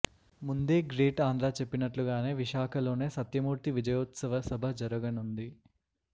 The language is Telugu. ముందే గ్రేట్ ఆంధ్ర చెప్పినట్లుగానే విశాఖలోనే సత్యమూర్తి విజయోత్సవ సభ జరగనుంది